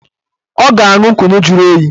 Ọ ga-aṅụ kunu juru oyi